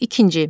İkinci.